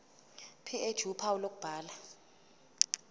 ph uphawu lokubhala